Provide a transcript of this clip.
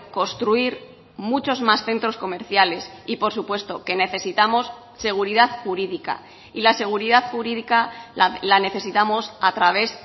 construir muchos más centros comerciales y por supuesto que necesitamos seguridad jurídica y la seguridad jurídica la necesitamos a través